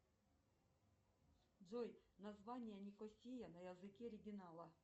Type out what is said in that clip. джой название никосия на языке оригинала